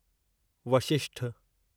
Vashishtha